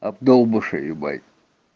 обдолбыши ебать